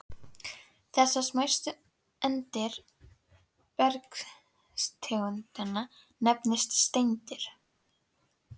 Þessar smæstu eindir bergtegundanna nefnast steindir.